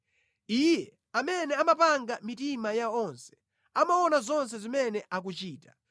Iye amene amapanga mitima ya onse, amaona zonse zimene akuchita.